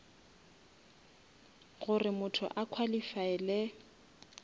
gore motho a qualifaele